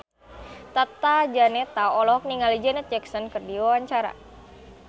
Tata Janeta olohok ningali Janet Jackson keur diwawancara